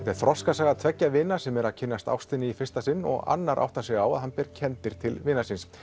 er þroskasaga tveggja vina sem eru að kynnast ástinni í fyrsta sinn og annar áttar sig á að hann ber kenndir til vinar síns